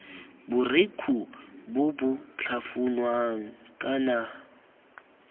borekhu bo bo tlhafunwang kana